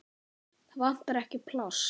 Það vantar ekki pláss.